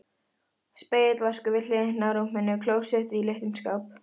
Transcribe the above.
Spegill, vaskur við hliðina á rúminu, klósett í litlum skáp.